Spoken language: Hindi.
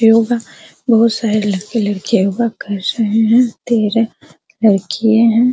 योगा बहुत सारे लड़के लड़कियां योगा कर रहे हैं लड़किए हैं।